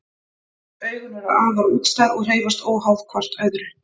Augun eru afar útstæð og hreyfast óháð hvort öðru.